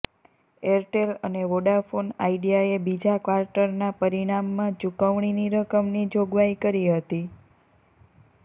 Airtel અને વોડાફોના આઇડિયાએ બીજા ક્વાર્ટરનાં પરિણામમાં ચુકવણીની રકમની જોગવાઈ કરી હતી